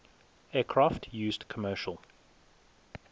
aircraft used commercial